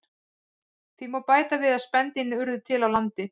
Því má bæta við að spendýrin urðu til á landi.